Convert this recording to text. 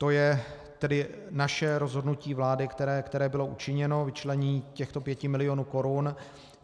To je tedy naše rozhodnutí vlády, které bylo učiněno, vyčlenění těchto pěti milionů korun.